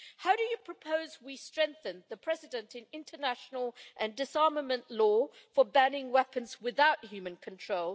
How do they propose we strengthen the precedent in international and disarmament law for banning weapons without human control